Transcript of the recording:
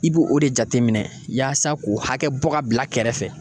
I b'o de jateminɛ yaasa k'o hakɛ bɔ k'a bila kɛrɛfɛ